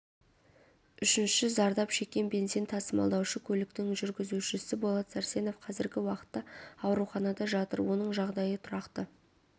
үшінші зардап шеккен бензин тасымалдаушы көліктің жүргізушісі болат сәрсенов қазіргі уақытта ауруханада жатыр оның жағдайы тұрақты